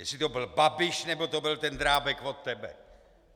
Jestli to byl Babiš, nebo to byl ten Drábek od tebe!